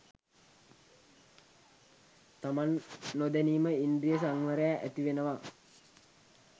තමන් නොදැනීම ඉන්ද්‍රිය සංවරය ඇතිවෙනවා